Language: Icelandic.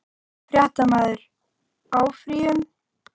Fréttamaður: Áfrýjun?